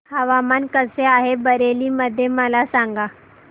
हवामान कसे आहे बरेली मध्ये मला सांगा